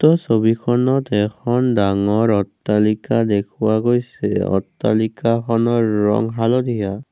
উক্ত ছবিখনত এখন ডাঙৰ অট্টালিকা দেখুওৱা গৈছে অট্টালিকাখনৰ ৰং হালধীয়া।